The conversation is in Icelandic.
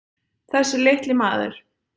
Þessi litli maður.